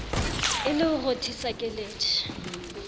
e le ho rothisa keledi